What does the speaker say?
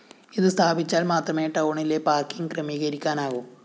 ഇത് സ്ഥാപിച്ചാല്‍ മാത്രമേ ടൗണിലെ പാര്‍ക്കിങ് ക്രമീകരിക്കാനാകൂ